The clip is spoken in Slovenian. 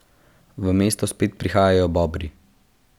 V mesto spet prihajajo Bobri.